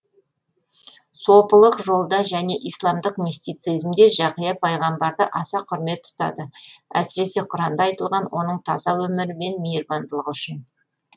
сопылық жолда және исламдық мистицизмде жақия пайғамбарды аса құрмет тұтады әсіресе құранда айтылған оның таза өмірі мен мейірбандылығы үшін